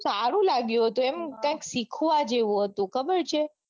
સારું લાગ્યું હતું એમાં કૈંક શીખવા જેવું હતું ખબર છે.